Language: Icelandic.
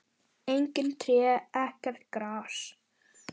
Engin tré, ekkert gras.